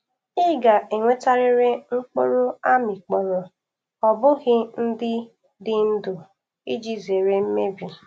I ga-ewetarịrị mkpụrụ a mịkpọrọ o bụghị ndị dị ndụ iji zere mmebi.